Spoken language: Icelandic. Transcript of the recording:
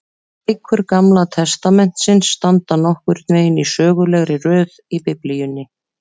Bækur Gamla testamentisins standa nokkurn veginn í sögulegri röð í Biblíunni.